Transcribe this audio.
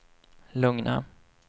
lugna